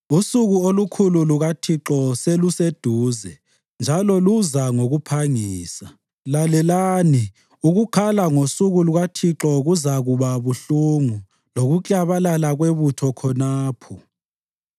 Usuku olukhulu lukaThixo seluseduze, njalo luza ngokuphangisa. Lalelani! Ukukhala ngosuku lukaThixo kuzakuba buhlungu, lokuklabalala kwebutho khonapho.